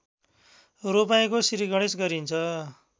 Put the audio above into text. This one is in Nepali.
रोपाइँको श्रीगणेश गरिन्छ